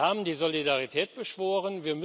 Sie haben die Solidarität beschworen.